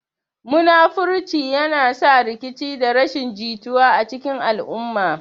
Munafurci yana sa rikici da rashin jituwa a cikin al'umma.